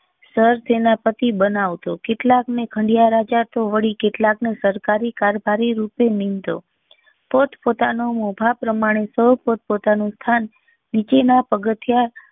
સરસેનાપતિ બનાવતો કેટલાક ને ખંડિયા રાજા તો વડી કેટલાક ને સરકારી કારભારી રૂપે નીમતો પોતપોતાની મોભા પ્રમાણે સૌ પોતપોતાનું સ્થાન નીચેના પગથીયા